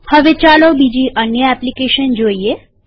હવે ચાલો બીજી અન્ય એપ્લીકેશન જોઈએ